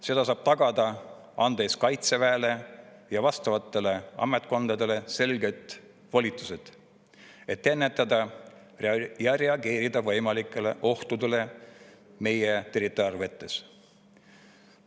Seda saab tagada, kui anname Kaitseväele ja vastavatele ametkondadele selged volitused, et ennetada võimalikke ohte ja reageerida ohtudele meie territoriaalvetes.